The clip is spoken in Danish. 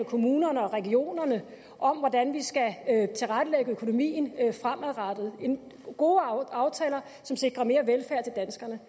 kommunerne og regionerne om hvordan vi skal tilrettelægge økonomien fremadrettet gode aftaler som sikrer mere velfærd til danskerne